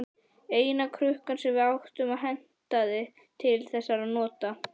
Eina krukkan sem við áttum og hentaði til þessara nota.